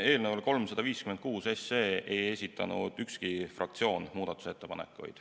Eelnõu 356 kohta ei esitanud ükski fraktsioon muudatusettepanekuid.